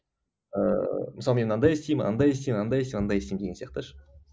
ыыы мысалы мен андай істеймін андай істеймін анда істеймін андай істеймін деген сияқты ше